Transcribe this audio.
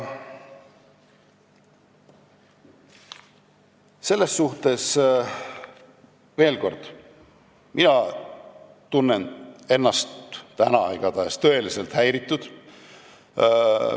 Ütlen veel kord: mina olen täna igatahes tõeliselt häiritud.